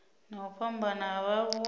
na u fhambana ha vhaaluwa